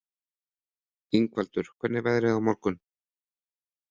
Ingvaldur, hvernig er veðrið á morgun?